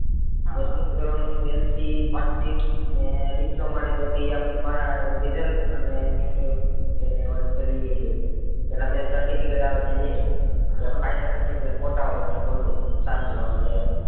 દસ માં ધોરણ નું LC marksheet અને diploma ની બધી આપડી result અને એની એની ઓલી પેલી પેલા બે certificate આવે છે એ પછી final certificate ફોટા વાળું ઓલું સાદું આવે છે એ